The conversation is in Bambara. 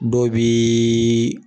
Dɔ biiiii.